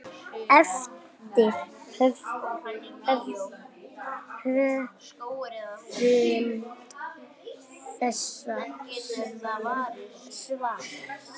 eftir höfund þessa svars.